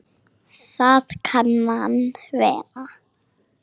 Það kann að vera